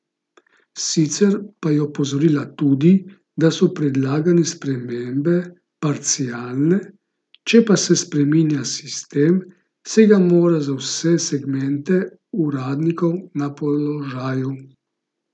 Sicer pa je opozorila tudi, da so predlagane spremembe parcialne, če pa se spreminja sistem, se ga mora za vse segmente uradnikov na položaju.